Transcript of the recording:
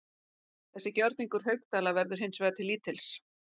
Þessi gjörningur Haukdæla verður hins vegar til lítils.